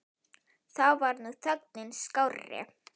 Þá var nú þögnin skárri.